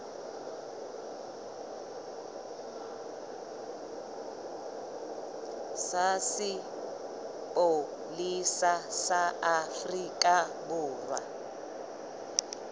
sa sepolesa sa afrika borwa